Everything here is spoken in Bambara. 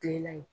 Kilela in